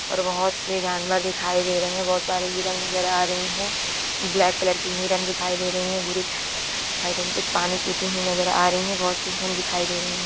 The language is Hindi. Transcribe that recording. और बहत सि जानवर दिखाई दे रहे हैं बहुत सारे हिरण नजर आ रही हैं ब्लैक कलर की हिरण दिखाई दे रही है बुरी दिखाई दे रही कुछ पानी पिति हुई नजर आ रही है बहत सि हिरण दिखाई दे रही है।